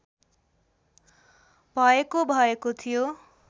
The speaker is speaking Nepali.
भएको भएको थियो